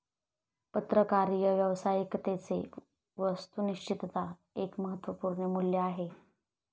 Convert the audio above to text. पत्रकारीय व्यावसायिकतेचे 'वास्तुनिश्तता एक महत्वपूर्ण मूल्य आहे.